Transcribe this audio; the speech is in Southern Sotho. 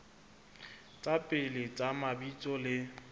tsa pele tsa mabitso le